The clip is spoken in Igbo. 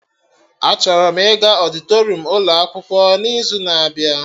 Achọrọ m ịga ọdịtorum ụlọ akwụkwọ n'izu na-abịa